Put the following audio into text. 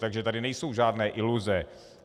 Takže tady nejsou žádné iluze.